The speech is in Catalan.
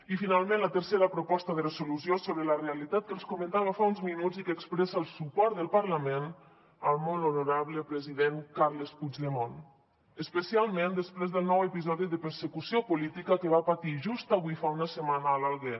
i finalment la tercera proposta de resolució sobre la realitat que els comentava fa uns minuts i que expressa el suport del parlament al molt honorable president carles puigdemont especialment després del nou episodi de persecució política que va patir just avui fa una setmana a l’alguer